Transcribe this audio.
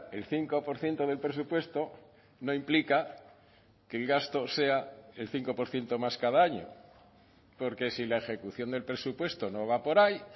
el cinco por ciento del presupuesto no implica que el gasto sea el cinco por ciento más cada año porque si la ejecución del presupuesto no va por ahí